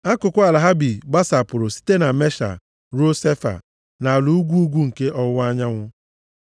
Akụkụ ala ha bi gbasapụrụ site na Mesha ruo Sefa nʼala ugwu ugwu nke ọwụwa anyanwụ.